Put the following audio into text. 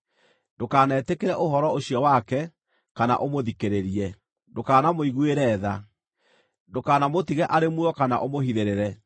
ndũkanetĩkĩre ũhoro ũcio wake, kana ũmũthikĩrĩrie. Ndũkanamũiguĩre tha. Ndũkanamũtige arĩ muoyo kana ũmũhithĩrĩre.